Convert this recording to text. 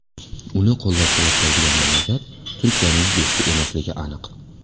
Uni qo‘llab-quvvatlaydigan mamlakat Turkiyaning do‘sti emasligi aniq.